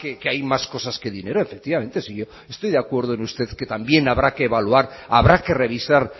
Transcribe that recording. que hay más cosas que dinero si yo estoy de acuerdo con usted que también habrá que evaluar habrá que revisar